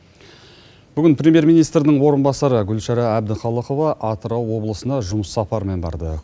бүгін премьер министрдің орынбасары гүлшара әбдіхалықова атырау облысына жұмыс сапарымен барды